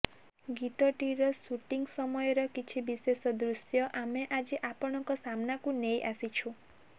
ଗୀତ ଟିର ସୁଟିଂ ସମୟର କିଛି ବିଶେଷ ଦୃଶ୍ୟ ଆମେ ଆଜି ଆପଣଙ୍କ ସାମ୍ନାକୁ ନେଇ ଆସିଛୁ